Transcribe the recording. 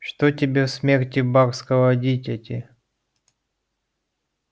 что тебе в смерти барского дитяти